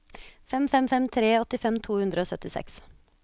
fem fem fem tre åttifem to hundre og syttiseks